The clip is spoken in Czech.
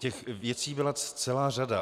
Těch věcí byla celá řada.